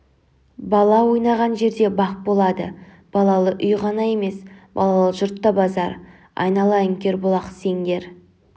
бала ойнаған жерде бақ болады балалы үй ғана емес балалы жұрт та базар айналайын кербұлақ сеңдер